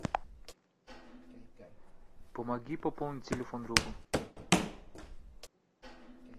помоги пополнить телефон другу